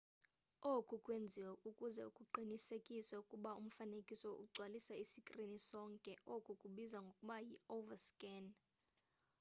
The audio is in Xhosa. oku kwenziwe ukuze kuqinisekiswe ukuba umfanekiso ugcwalisa isikrini sonke oku kubizwa ngokuba yi-overscan